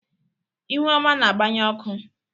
ihuoma na-agbanye ọkụ.